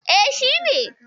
E, shi ne.